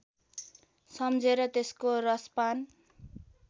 सम्झेर त्यसको रसपान